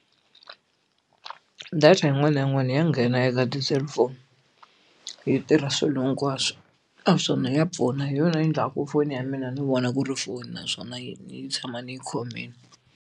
Data yin'wana na yin'wana ya nghena eka ti-cellphone yi tirha swilo hinkwaswo naswona ya pfuna hi yona yi endlaka ku foni ya mina ni vona ku ri foni naswona ni tshama ni yi khomile.